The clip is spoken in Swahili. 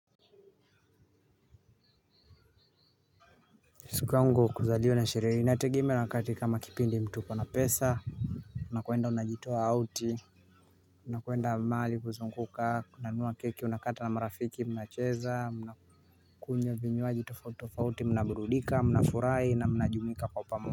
Siku yangu ya kuzaliwa haina sherehe. Inategemea wakati kama kipindi mtu uko na pesa. Unakwenda unajitoa 'out', unakwenda mahali kuzunguka, unanunua keki unakata na marafiki, mnacheza, mnakunywa vinywaji tofauti tofauti, mnaburudika, mnafurahi na mnajumuika kwa pamoja.